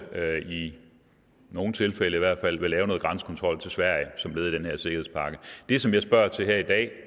i nogle tilfælde i hvert fald vil lave noget grænsekontrol til sverige som led i den her sikkerhedspakke det som jeg spørger til her i dag